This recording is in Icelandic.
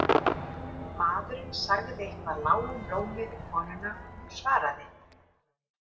Maðurinn sagði eitthvað lágum rómi við konuna og hún svaraði.